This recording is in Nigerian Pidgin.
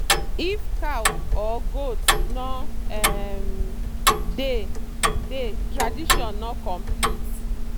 if cow or goat no um dey dey tradition no complete.